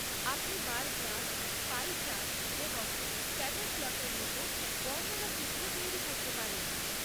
আপনি bar graph, pie chart এবং scatter প্লটের মতো বর্ণনাচিত্র তৈরি করতে পারেন।